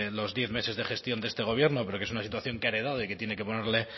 los diez meses de gestión de este gobierno pero que es una situación que ha heredado de que tiene que ponerle